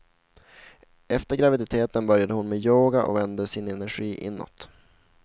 Efter graviditeten började hon med yoga och vände sin energi inåt.